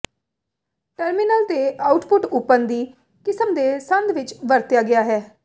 terminal ਤੇ output open ਦੀ ਕਿਸਮ ਦੇ ਸੰਦ ਵਿੱਚ ਵਰਤਿਆ ਗਿਆ ਹੈ